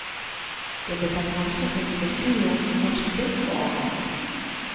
Det blir tatt hensyn til strukturen i norsk bygg og anlegg.